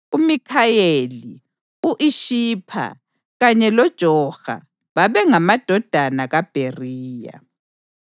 uMikhayeli, u-Ishipha kanye loJoha bengamadodana kaBheriya.